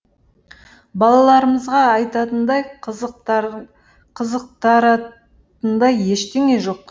балаларымызға айтатындай қызықтыратындай ештеңе жоқ